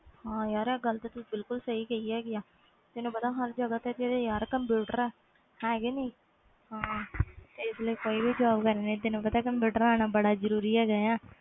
ਹਾਂ ਆਹ ਗੱਲ ਤੂੰ ਸਹੀ ਕਹੀ ਆ ਤੈਨੂੰ ਪਤਾ ਹਰ ਜਗ੍ਹਾ ਤੇ ਕੰਪਿਊਟਰ ਆ ਹੈ ਕੇ ਨਹੀਂ ਜਿਹਦੇ ਲਈ ਕੋਈ ਵੀ job ਕਰਨੀ ਕੰਪਿਊਟਰ ਆਣਾ ਜਰੂਰੀ ਆ